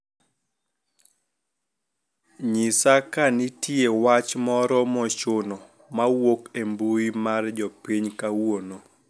nyisa ka nitie wach moro mochuno mawuok e mbui mar jopiny kawuono